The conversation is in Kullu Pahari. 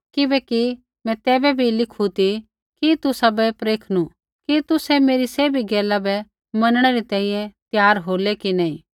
किबैकि मैं तैबै भी लिखु ती कि तुसाबै परखणू कि तुसै मेरी सैभी गैला बै मनणै री तैंईंयैं त्यार होलै कि नी